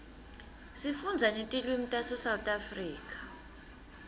sifunda netilwimitase south africa